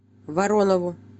воронову